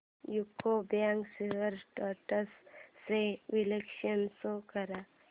UCO bank shares trends चे विश्लेषण show कर